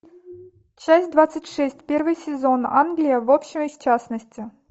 часть двадцать шесть первый сезон англия в общем и в частности